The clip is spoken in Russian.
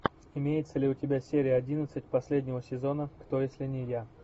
имеется ли у тебя серия одиннадцать последнего сезона кто если не я